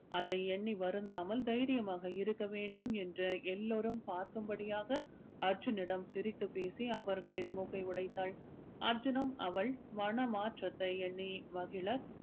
அதை எண்ணி வருந்தாமல் தைரியமாக இருக்க வேண்டும் என்று எல்லோரும் பார்க்கும் படியாக அர்ஜுனிடம் சிரித்து பேசி அவர்களின் மூக்கை உடைத்தாள் அர்ஜுனும் அவள் மன மாற்றத்தை எண்ணி மகிழ